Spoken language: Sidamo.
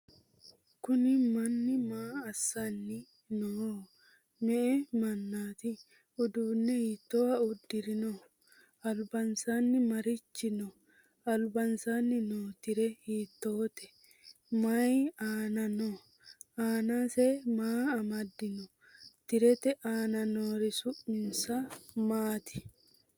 kuuni manu maa asani nooho?me"e mannati? uudune hitoha udirino? albansani marichi no?albansani noo tire hitote ?mayi aana no?annase maa amadino? tirete anna noori su'minsa maati?